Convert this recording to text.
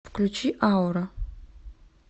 включи аура